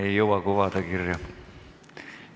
Me ei jõua kirja panna.